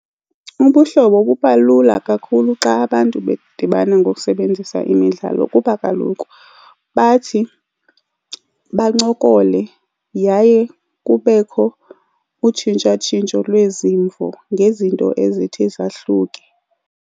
Ubuhlobo buba lula kakhulu xa abantu bedibana ngokusebenzisa imidlalo kuba kaloku bathi bancokole yaye kubekho utshintshatshintsho lwezimvo ngezinto ezithi zahluke.